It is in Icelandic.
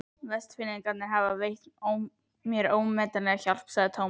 Vestfirðingar hafa veitt mér ómetanlega hjálp sagði Thomas.